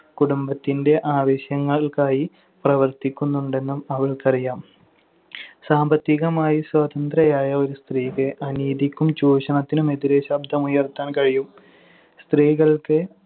കുടുംബത്തിന്‍റെ ആവശ്യങ്ങൾക്കായി പ്രവർത്തിക്കുന്നുണ്ടെന്നും അവൾക്കറിയാം. സാമ്പത്തികമായി സ്വതന്ത്രയായ ഒരു സ്ത്രീക്ക് അനീതിക്കും ചൂഷണത്തിനും എതിരെ ശബ്ദമുയർത്താൻ കഴിയും. സ്ത്രീകൾക്ക്